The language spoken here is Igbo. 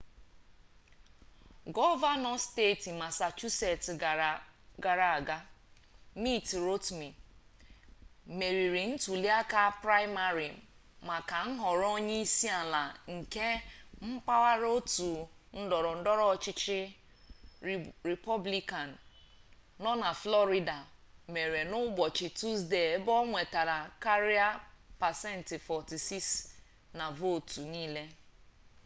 gọvanọ steeti masachusets gara aga mitt romney meriri ntuliaka praịmarị maka nhọrọ onye isi ala nke mpaghara otu ndọrọ ndọrọ ọchịchị rịpọblikan nọ na flọrida mere n'ụbọchị tusdee ebe o nwetara karịa pasent 46 na vootu niile